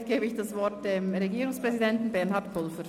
Somit gebe ich das Wort dem Regierungspräsidenten Bernhard Pulver.